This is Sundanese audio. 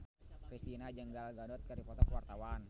Kristina jeung Gal Gadot keur dipoto ku wartawan